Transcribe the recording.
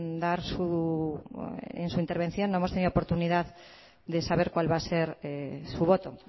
de dar su en su intervención no hemos podido oportunidad de saber cuál va a ser su voto